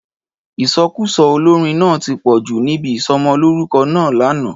Ìsọkúsọ olórin náà ti pọ̀jù níbi isọmọlúrúkọ náà lánàá